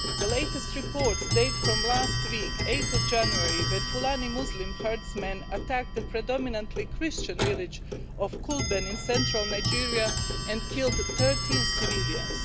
The latest reports date from last week, 8 January, when Fulani Muslim herdsmen attacked the predominantly Christian village of Kulben in central Nigeria and killed 13 civilians.